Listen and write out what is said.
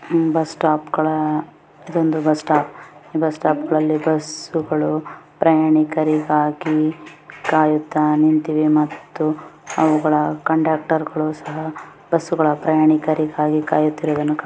ಇದು bus stop bus stop ಗಳಲ್ಲಿ ಬಸ್ಸುಗಳು ಪ್ರಯಾಣಿಕರಿಗಾಗಿ ಕಾಯುತ್ತಾ ನಿಂತಿವೆ. ಮತ್ತು ಅವುಗಳ ಕಂಡಕ್ಟರ್ರು ಸಹ ಪ್ರಯಾಣಿಕರಿಗಾಗಿ ಕಾಯುತ್ತಿರುವುದನ್ನು--